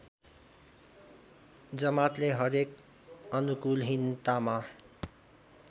जमातले हरेक अनुकूलहीनतामा